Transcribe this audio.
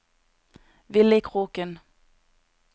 Villy Kroken